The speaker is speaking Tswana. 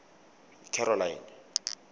caroline